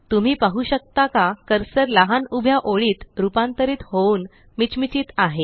तुम्ही पाहू शकता का कर्सर लहान उभ्या ओळीत रुपांतरीत होऊन मिचमिचत आहे